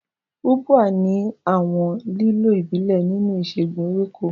Ubwa ní àwọn ìlò ìbílẹ̀ nínú ìṣègùn ewéko.